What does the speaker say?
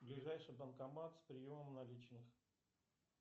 ближайший банкомат с приемом наличных